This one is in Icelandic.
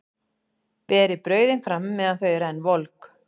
Berið brauðin fram meðan þau eru enn volg.